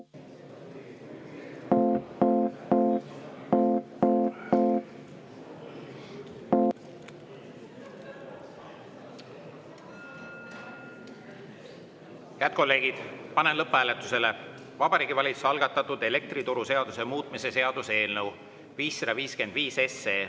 Head kolleegid, panen lõpphääletusele Vabariigi Valitsuse algatatud elektrituruseaduse muutmise seaduse eelnõu 555.